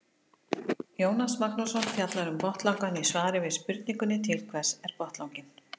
Jónas Magnússon fjallar um botnlangann í svari við spurningunni Til hvers er botnlanginn?